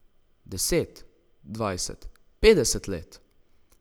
Deset, dvajset, petdeset let?